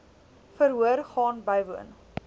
verhoor gaan bywoon